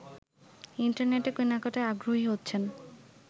ইন্টারনেটে কেনাকাটায় আগ্রহী হচ্ছেন